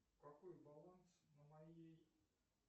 какой баланс на моей